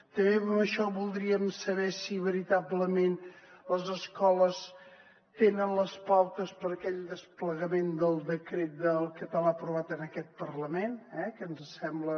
també en això voldríem saber si veritablement les escoles tenen les pautes per a aquell desplegament del decret del català aprovat en aquest parlament que ens sembla